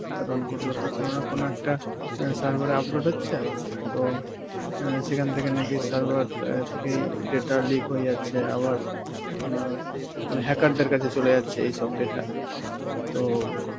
কারণ এইগুলো তো কোন না কোন একটা অ্যাঁ sever এ upload হচ্ছে তো অ্যাঁ সেখান থেকে নাকি sever অ্যাঁ থেকেই data leak হয়ে যাচ্ছে আবার আঁ মানে hacker দের কাছে চলে যাচ্ছে এইসব data. তো